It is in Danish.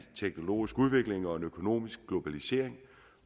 teknologisk udvikling og en økonomisk globalisering